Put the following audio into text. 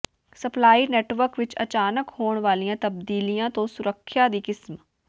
supply network ਵਿੱਚ ਅਚਾਨਕ ਹੋਣ ਵਾਲੀਆਂ ਤਬਦੀਲੀਆਂ ਤੋਂ ਸੁਰੱਖਿਆ ਦੀ ਕਿਸਮ